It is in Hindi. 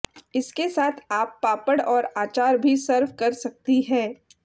इसके साथ आप पापड़ और आचार भी सर्व कर सकती हैं